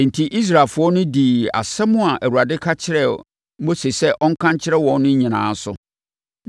Enti, Israelfoɔ no dii nsɛm a Awurade ka kyerɛɛ Mose sɛ ɔnka nkyerɛ wɔn no nyinaa so.